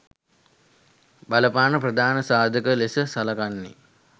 බලපාන ප්‍රධාන සාධකය ලෙස සලකන්නේ